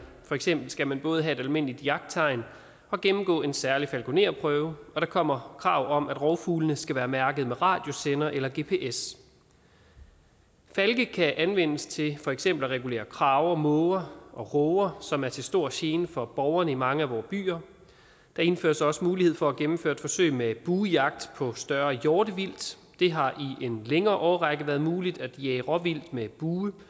for eksempel skal man både have et almindeligt jagttegn og gennemgå en særlig falkonerprøve og der kommer krav om at rovfuglene skal være mærket med radiosender eller gps falke kan anvendes til for eksempel at regulere krager måger og råger som er til stor gene for borgerne i mange af vore byer der indføres også mulighed for at gennemføre et forsøg med buejagt på større hjortevildt det har i en længere årrække været muligt at jage råvildt med bue